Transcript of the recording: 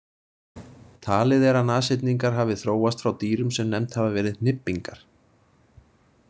Talið er að nashyrningar hafi þróast frá dýrum sem nefnd hafa verið hnybbingar.